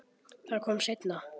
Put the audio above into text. Það kom seinna.